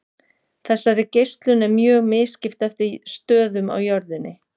Þessari geislun er mjög misskipt eftir stöðum á jörðinni.